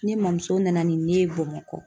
Ne mɔmuso nana ni n ye Bamakɔ.